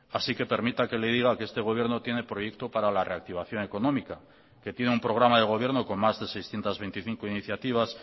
así que permita que le diga que este gobierno tiene proyecto para la reactivación económica que tiene un programa de gobierno con más de seiscientos veinticinco iniciativas